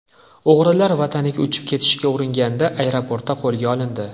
O‘g‘rilar vataniga uchib ketishga uringanda, aeroportda qo‘lga olindi.